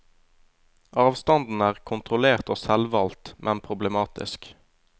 Avstanden er kontrollert og selvvalgt, men problematisk.